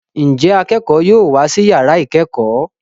Njé akẹkọ yóò wá sí yàrá ikẹkọ?